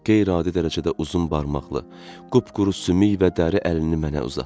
O qeyri-adi dərəcədə uzun barmaqlı, qupquru sümük və dəri əlini mənə uzatdı.